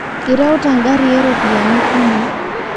Ireuta ngari eropiyiani kumo